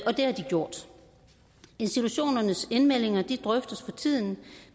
og det har de gjort institutionernes indmeldinger drøftes for tiden